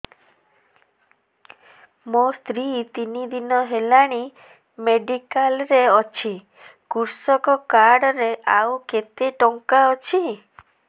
ମୋ ସ୍ତ୍ରୀ ତିନି ଦିନ ହେଲାଣି ମେଡିକାଲ ରେ ଅଛି କୃଷକ କାର୍ଡ ରେ ଆଉ କେତେ ଟଙ୍କା ଅଛି